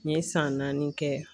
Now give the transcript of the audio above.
N ye san naani kɛ